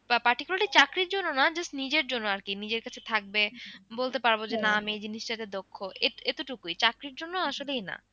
particularly চাকরির জন্য না just নিজের জন্য আর কি নিজের কাছে থাকবে বলতে পারবো যে না আমি এই জিনিসটা তে দক্ষ এতোটুকুই চাকরির জন্য আসলেই না।